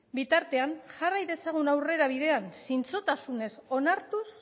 bitartean jarrai dezagun aurrera bidean zintzotasunez onartuz